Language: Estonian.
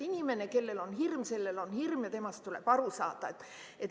Inimene, kellel on hirm, sellel on hirm ja temast tuleb aru saada.